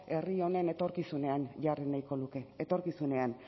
herri honen etorkizunean jarri nahiko nuke etorkizunean